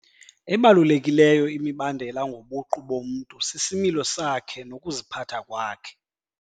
Ebalulekileyo imibandela ngobuqu bomntu sisimilo sakhe nokuziphatha kwakhe.